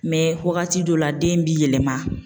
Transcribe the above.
wagati dɔw la den bi yɛlɛma.